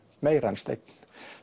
meira en Steinn